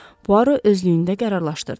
Puaro özlüyündə qərarlaşdırdı.